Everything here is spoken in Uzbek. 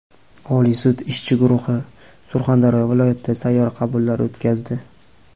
Oliy sud ishchi guruhi Surxondaryo viloyatida sayyor qabullar o‘tkazdi.